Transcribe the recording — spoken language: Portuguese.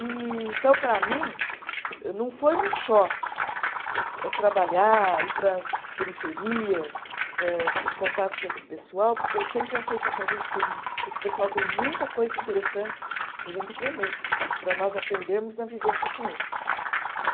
E então, para mim, não foi um choque eh trabalhar, ir para as periferias, âh em contato com esse pessoal, porque eu sempre achei que essa gente tem, que esse pessoal tem muita coisa interessante para a gente aprender, para nós aprendermos na vivência com eles né.